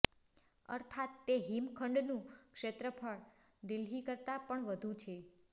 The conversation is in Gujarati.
અર્થાત તે હિમખંડનું ક્ષેત્રફળ દિલ્હી કરતાં પણ વધુ છે